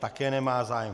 Také nemá zájem.